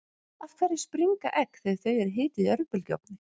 af hverju springa egg þegar þau eru hituð í örbylgjuofni